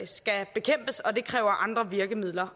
skal bekæmpes og det kræver andre virkemidler